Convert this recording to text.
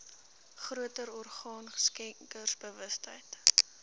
groter orgaan skenkersbewustheid